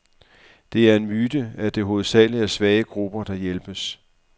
Det er en myte, at det hovedsageligt er svage grupper, der hjælpes.